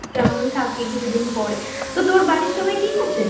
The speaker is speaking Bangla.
কেমন থাকে কিছুদিন পরে তো তোর বাড়ির সবাই ঠিক আছে?